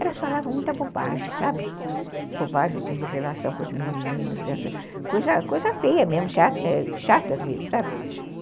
elas falavam muita bobagem, bobagem de relação com os meninos, coisa coisa feia mesmo, chatas mesmo, sabe